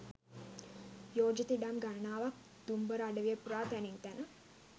යෝජිත ඉඩම් ගණනාවක් දුම්බර අඩවිය පුරා තැනින් තැන